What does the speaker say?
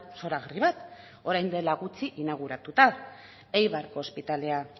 zoragarri bat orain dela gutxi inauguratuta eibarko ospitalea